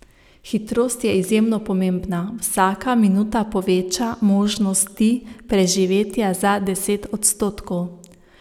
Hitrost je izjemno pomembna, vsaka minuta poveča možnosti preživetja za deset odstotkov.